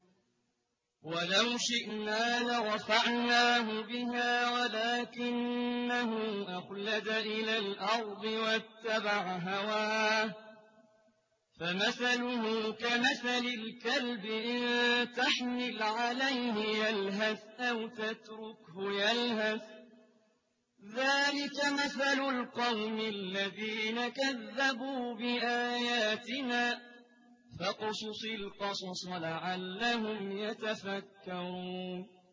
وَلَوْ شِئْنَا لَرَفَعْنَاهُ بِهَا وَلَٰكِنَّهُ أَخْلَدَ إِلَى الْأَرْضِ وَاتَّبَعَ هَوَاهُ ۚ فَمَثَلُهُ كَمَثَلِ الْكَلْبِ إِن تَحْمِلْ عَلَيْهِ يَلْهَثْ أَوْ تَتْرُكْهُ يَلْهَث ۚ ذَّٰلِكَ مَثَلُ الْقَوْمِ الَّذِينَ كَذَّبُوا بِآيَاتِنَا ۚ فَاقْصُصِ الْقَصَصَ لَعَلَّهُمْ يَتَفَكَّرُونَ